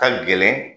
Ka gɛlɛn